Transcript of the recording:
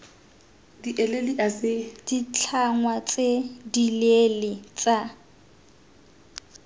b ditlhangwa tse dileele tsa